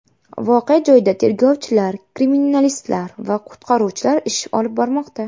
Voqea joyida tergovchilar, kriminalistlar va qutqaruvchilar ish olib bormoqda.